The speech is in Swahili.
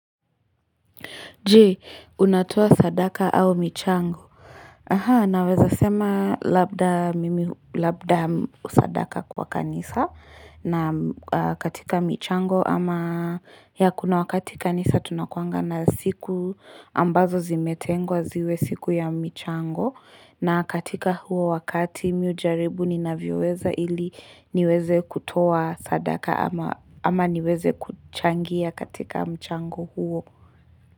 Je, unatoa sadaka au michango? Aha, naweza sema labda mimi labda sadaka kwa kanisa na katika michango ama ya kuna wakati kanisa tunakuaga na siku ambazo zimetengwa ziwe siku ya michango na katika huo wakati mimi hujaribu ninavyoweza ili niweze kutoa sadaka ama niweze kuchangia katika michango huo.